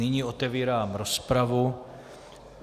Nyní otevírám rozpravu.